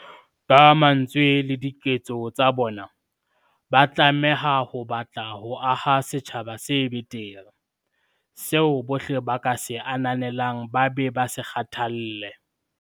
Ka mantswe le diketso tsa bona, ba tlameha ho batla ho aha setjhaba se betere, seo bohle ba ka se ananelang ba be ba se kgathalle.